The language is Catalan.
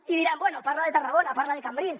i diran bé parla de tarragona parla de cambrils